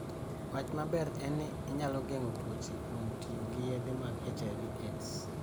Wach maber en ni inyalo geng'o tuoche kuom tiyo gi yedhe mag HIV/AIDS.